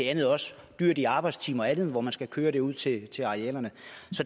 er også dyrt i arbejdstimer og andet hvor man skal køre vand ud til til arealerne